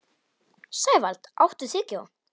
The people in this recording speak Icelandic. Sævald, áttu tyggjó?